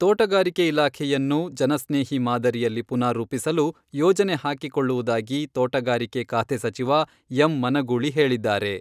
ತೋಟಗಾರಿಕೆ ಇಲಾಖೆಯನ್ನು ಜನಸ್ನೇಹಿ ಮಾದರಿಯಲ್ಲಿ ಪುನಾರೂಪಿಸಲು ಯೋಜನೆ ಹಾಕಿಕೊಳ್ಳುವುದಾಗಿ ತೋಟಗಾರಿಕೆ ಖಾತೆ ಸಚಿವ ಎಂ. ಮನಗೂಳಿ ಹೇಳಿದ್ದಾರೆ.